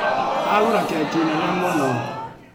Agũra keki nene mũno.